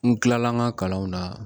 N kilala n ka kalanw na